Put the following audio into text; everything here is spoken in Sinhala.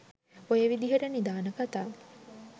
ඔය විදියට නිධාන කතා